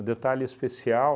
Um detalhe especial,